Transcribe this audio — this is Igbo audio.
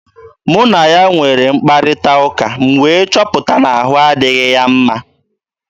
Mụ na ya nwere mkparịta ụka, m wee chọpụta na ahụ adịghị ya mma.